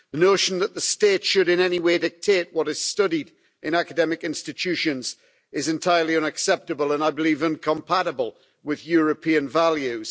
The notion that the state should in any way dictate what is studied in academic institutions is entirely unacceptable, and I believe incompatible with European values.